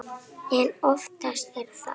En oftast er það